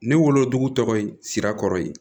Ne wolodugu tɔgɔ ye sira kɔrɔ ye